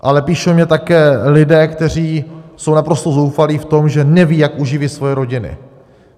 Ale píší mi také lidé, kteří jsou naprosto zoufalí v tom, že neví, jak uživí svoje rodiny.